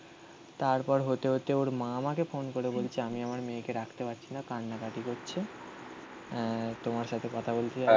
তারপর হতে হতে ওর মা আমাকে ফোন করে বলছে আমি আমার মেয়েকে ডাকতে পারছি না. কান্নাকাটি করছি. অ্যা তোমার সাথে কথা বলতে চাইছে